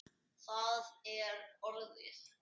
Það er orðið.